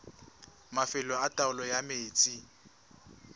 mafelo a taolo ya metsi